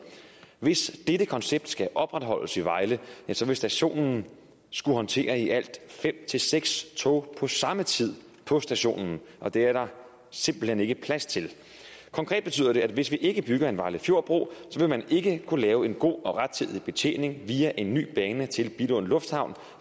hvis dette koncept skal opretholdes i vejle vil stationen skulle håndtere i alt fem seks tog på samme tid på stationen og det er der simpelt hen ikke plads til konkret betyder det at hvis vi ikke bygger en vejle fjord bro vil man ikke kunne lave en god og rettidig betjening via en ny bane til billund lufthavn